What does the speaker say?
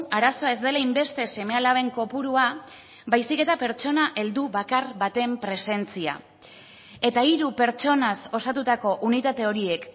arazoa ez dela hainbeste seme alaben kopurua baizik eta pertsona heldu bakar baten presentzia eta hiru pertsonaz osatutako unitate horiek